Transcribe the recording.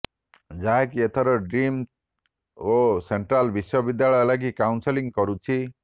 ଯାହାକି ଏଥର ଡିମ୍ଡ ଓ ସେଣ୍ଟ୍ରାଲ ବିଶ୍ୱବିଦ୍ୟାଳୟ ଲାଗି କାଉନସେଲିଂ କରୁଛି